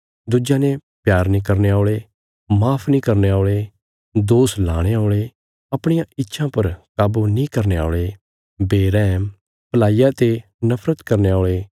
दुज्यां ने प्यार नीं करने औल़े माफ नीं करने औल़े दोष लाणे औल़े अपणिया इच्छां पर काबू नीं करने औल़े बेरैहम भलाईया ते नफरत करने औल़े